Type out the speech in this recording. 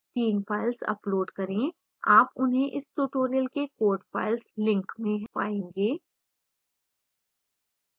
3 files upload करें आप उन्हें इस tutorial के code files link में पाएंगे